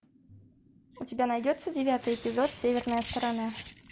у тебя найдется девятый эпизод северная сторона